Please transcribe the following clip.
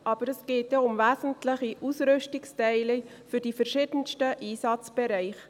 Aber es geht ja um wesentliche Ausrüstungsteile für die verschiedensten Einsatzbereiche.